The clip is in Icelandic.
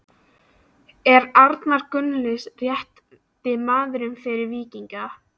Er Arnar Gunnlaugs rétti maðurinn fyrir Víkinga?